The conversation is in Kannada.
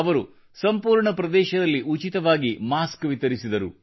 ಅವರು ಸಂಪೂರ್ಣ ಪ್ರದೇಶದಲ್ಲಿ ಉಚಿತವಾಗಿ ಮಾಸ್ಕ ವಿತರಿಸಿದರು